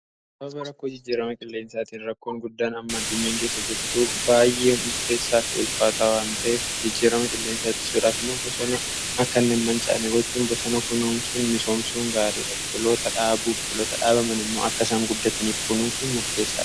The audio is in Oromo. Rakkoo jijjiirama qilleensaatiin rakkoon guddaan amma addunyaan keessa jirtuu baay'ee murteessaa fi ulfaataa wanteef jijjiirama qilleensaa itti sudhaafimmoo bosooni akkan inni hin mancaane gochuun bosona kunuunsun misoomsuun gaarii dha . Biqiloota dhaabu biqiloota dhaabaman immoo akkasaan guddataniif kunuusun murteessaa.